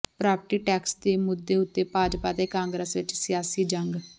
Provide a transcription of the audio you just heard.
property tax ਦੇ ਮੁੱਦੇ ਉੱਤੇ ਭਾਜਪਾ ਤੇ ਕਾਂਗਰਸ ਵਿੱਚ ਸਿਆਸੀ ਜੰਗ